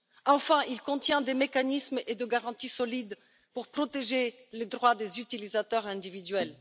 Enfin, il contient des mécanismes et des garanties solides pour protéger les droits des utilisateurs individuels.